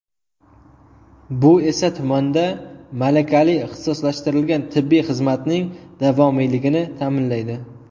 Bu esa, tumanda malakali ixtisoslashtirilgan tibbiy xizmatning davomiyligini ta’minlaydi.